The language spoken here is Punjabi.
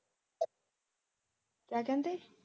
ਕਿਆ ਕਹਿੰਦੇ